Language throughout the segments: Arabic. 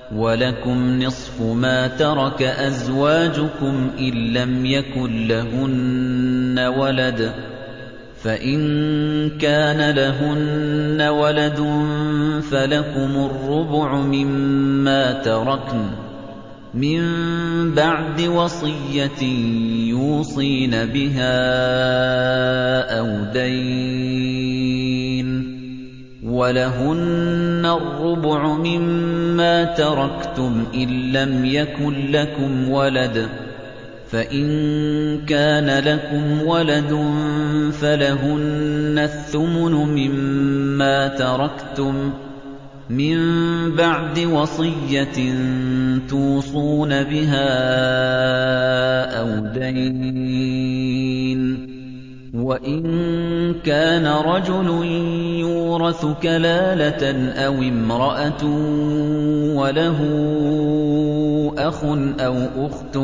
۞ وَلَكُمْ نِصْفُ مَا تَرَكَ أَزْوَاجُكُمْ إِن لَّمْ يَكُن لَّهُنَّ وَلَدٌ ۚ فَإِن كَانَ لَهُنَّ وَلَدٌ فَلَكُمُ الرُّبُعُ مِمَّا تَرَكْنَ ۚ مِن بَعْدِ وَصِيَّةٍ يُوصِينَ بِهَا أَوْ دَيْنٍ ۚ وَلَهُنَّ الرُّبُعُ مِمَّا تَرَكْتُمْ إِن لَّمْ يَكُن لَّكُمْ وَلَدٌ ۚ فَإِن كَانَ لَكُمْ وَلَدٌ فَلَهُنَّ الثُّمُنُ مِمَّا تَرَكْتُم ۚ مِّن بَعْدِ وَصِيَّةٍ تُوصُونَ بِهَا أَوْ دَيْنٍ ۗ وَإِن كَانَ رَجُلٌ يُورَثُ كَلَالَةً أَوِ امْرَأَةٌ وَلَهُ أَخٌ أَوْ أُخْتٌ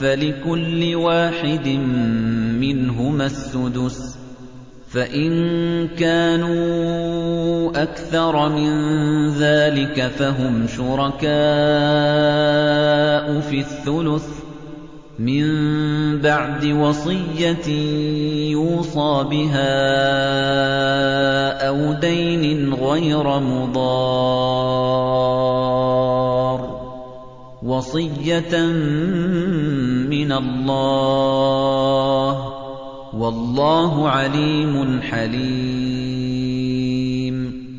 فَلِكُلِّ وَاحِدٍ مِّنْهُمَا السُّدُسُ ۚ فَإِن كَانُوا أَكْثَرَ مِن ذَٰلِكَ فَهُمْ شُرَكَاءُ فِي الثُّلُثِ ۚ مِن بَعْدِ وَصِيَّةٍ يُوصَىٰ بِهَا أَوْ دَيْنٍ غَيْرَ مُضَارٍّ ۚ وَصِيَّةً مِّنَ اللَّهِ ۗ وَاللَّهُ عَلِيمٌ حَلِيمٌ